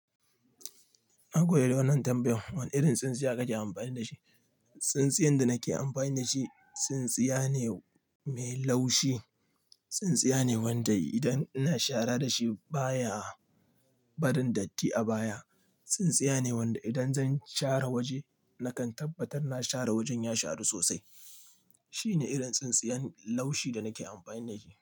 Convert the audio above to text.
Nagode da wannan tambayan, wane irin tsintsiya kake amfani da shi? Tsintsiyan da nake amfani da shi, tsintsiya ne mai laushi. Tsintsiya ne wanda idan ina shara da shi baya barin datti a baya. Tsintsiya ne wanda idan zan share waje nakan tabbatar na share wajen ya sharu sosai. Shine irin tsintsiyan laushi da nake amfani da shi.